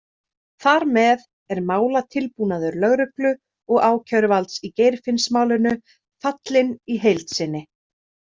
Þar með er málatilbúnaður lögreglu og ákæruvalds í Geirfinnsmálinu fallinn í heild sinni.